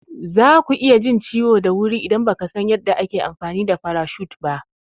Zaku iya jin ciwo da wuri idan bakasan yanda ake amfani da farashut ba.